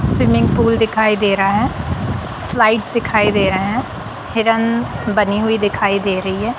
Swimming pool दिखाई दे रहा है स्लाइड्स दिखाई दे रहे हैं हिरन बनी हुई दिखाई दे रही है।